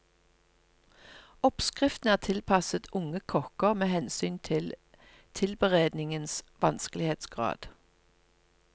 Oppskriftene er tilpasset unge kokker med hensyn til tilberedningens vanskelighetsgrad.